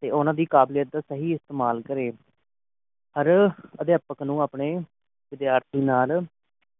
ਤੇ ਉਨ੍ਹਾਂ ਦੀ ਕਾਬਲੀਅਤ ਦਾ ਸਹੀ ਇਸਤਮਾਲ ਕਰੇ ਹਰ ਅਧਿਆਪ੍ਕ ਨੂੰ ਆਪਣੇ ਵਿਦਿਆਰਥੀ ਨਾਲ